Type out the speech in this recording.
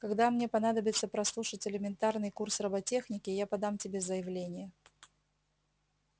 когда мне понадобится прослушать элементарный курс роботехники я подам тебе заявление